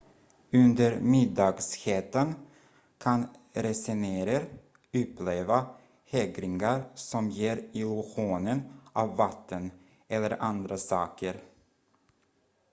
under middagshettan kan resenärer uppleva hägringar som ger illusionen av vatten eller andra saker